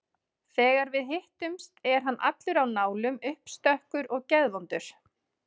Þegar við hittumst er hann allur á nálum, uppstökkur og geðvondur.